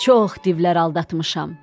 Çox divlər aldatmışam.